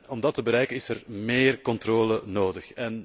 Om dat te bereiken is er meer controle nodig.